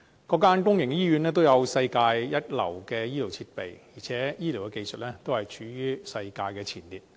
各間公營醫院都有世界一流的醫療設備，而且醫療技術處於世界前列。